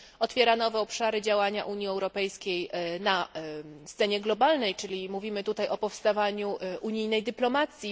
otwiera nowe obszary działania Unii Europejskiej na scenie globalnej czyli mówimy tutaj o powstawaniu unijnej dyplomacji